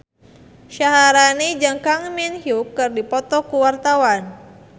Syaharani jeung Kang Min Hyuk keur dipoto ku wartawan